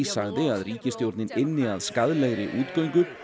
sagði að ríkisstjórnin ynni að skaðlegri útgöngu